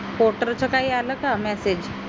च काही आलं का massege